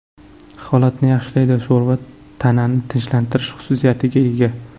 Holatni yaxshilaydi Sho‘rva tanani tinchlantirish xususiyatiga ega.